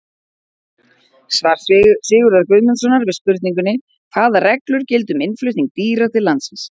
Svar Sigurðar Guðmundssonar við spurningunni Hvaða reglur gilda um innflutning dýra til landsins?